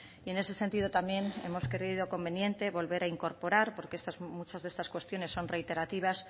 y en ese sentido también hemos creído conveniente volver a incorporar porque muchas de estas cuestiones son reiterativas